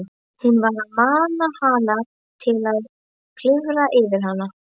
Var hún að mana hann til að klifra yfir hana?